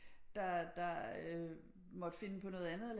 Der måtte finde på noget andet